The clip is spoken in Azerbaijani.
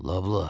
Loblə.